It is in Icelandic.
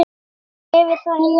Já, yfir það heila.